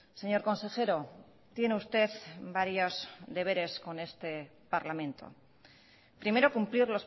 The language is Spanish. señor consejero tiene usted varios deberes con este parlamento primero cumplir